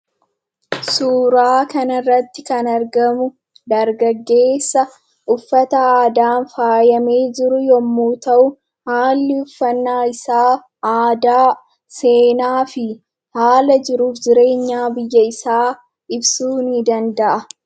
Suuraa kana irratti kan argamu dargaggeessa uffata aadaan faayamee jiru yemmuu ta'u, haalli uffannaa isaa aadaa, seenaa fi haala jiruuf jireenyaa biyya isaa ibsuu ni danda'a.